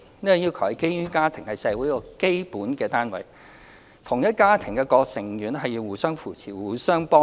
這項要求是基於家庭是社會的基本單位，同一家庭的各個成員應互相扶持，互相幫助。